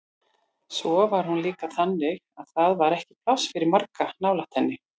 Svo var hún líka þannig að það var ekki pláss fyrir marga nálægt henni.